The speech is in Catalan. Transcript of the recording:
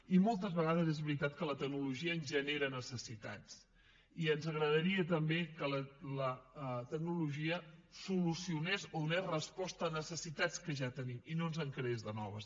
i moltes vegades és veritat que la tecnologia ens genera necessitats i ens agradaria també que la tecnologia solucionés o donés respostes a necessitats que ja tenim i no ens en creés de noves